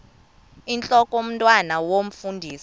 intlok omntwan omfundisi